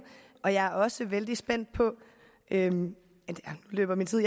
og jeg er også vældig spændt på … nu løber min tid